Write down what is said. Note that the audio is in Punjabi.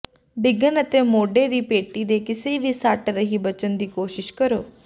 ਡਿੱਗਣ ਅਤੇ ਮੋਢੇ ਦੀ ਪੇਟੀ ਦੇ ਕਿਸੇ ਵੀ ਸੱਟ ਰਹੀ ਬਚਣ ਦੀ ਕੋਸ਼ਿਸ਼ ਕਰੋ